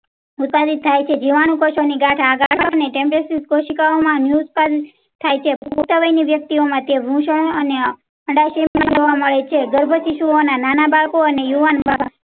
ઉતારી થાય છે જુવાન ગાંઠો ટેસ્ટિંગ કોશિકાઓ માં ન્યૂઝ. પણ થાય છે ની વ્યક્તિઓ માટે ભૂષણ. જોવા મળે છે ગર્ભવતી શો નાના બાળકો અને યુવાન બાળકો